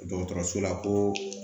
Dɔgɔtɔrɔso la koo